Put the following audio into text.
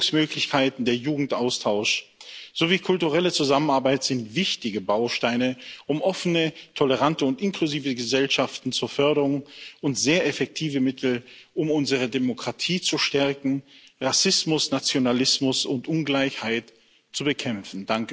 Bildungsmöglichkeiten, der Jugendaustausch sowie kulturelle Zusammenarbeit sind wichtige Bausteine, um offene, tolerante und inklusive Gesellschaften zu fördern, und sehr effektive Mittel, um unsere Demokratie zu stärken, Rassismus, Nationalismus und Ungleichheit zu bekämpfen.